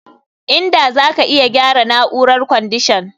Inda zaka iya gyara na'urar kwandishan